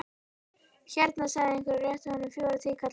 Hérna, sagði einhver og rétti honum fjóra tíkalla.